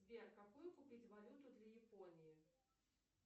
сбер какую купить валюту для японии